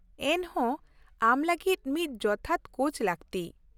ᱼᱮᱱᱦᱚᱸ ᱟᱢ ᱞᱟᱹᱜᱤᱫ ᱢᱤᱫ ᱡᱚᱛᱷᱟᱛ ᱠᱳᱪ ᱞᱟᱹᱠᱛᱤ ᱾